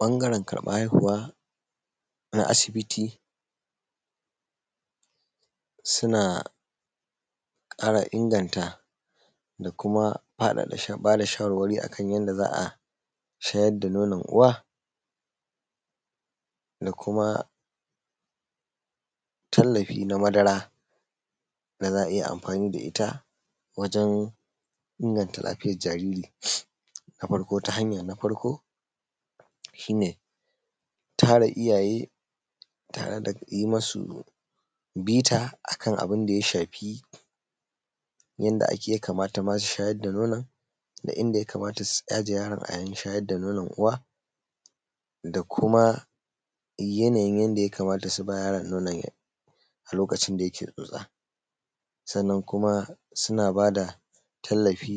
Bangaren karban haihuwa na asibiti suna kara inganta da kuma bada shawarwari akan yanda za’a shayar da nonon uwa da kuma tallafi na madara da za’ayi amfani da itta wajen inganta lafiyan jariri na farko tara iyyaye tare da yi masu bita akan abinda ya shafi yanda ya kamata ma su shayar da nono da inda yakamata su aje yaron a yayin shayar da nonon uwa da kuma yanayin yanda yakamata suba yaron nonon lokacin da yake tsotsa sannan kuma suna bada tallafi